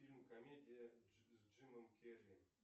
фильм комедия с джимом керри